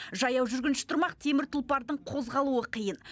жаяу жүргінші тұрмақ темір тұлпардың қозғалуы қиын